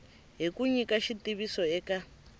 hi ku nyika xitiviso eka